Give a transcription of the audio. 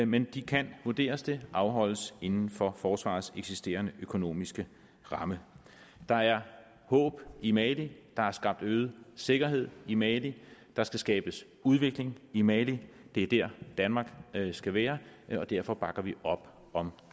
men de kan vurderes det afholdes inden for forsvarets eksisterende økonomiske ramme der er håb i mali der er skabt øget sikkerhed i mali der skal skabes udvikling i mali det er der danmark skal være og derfor bakker vi op om